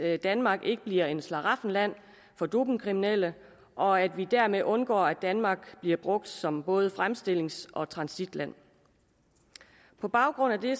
at danmark ikke bliver et slaraffenland for dopingkriminelle og at vi dermed undgår at danmark bliver brugt som både fremstillings og transitland på baggrund af det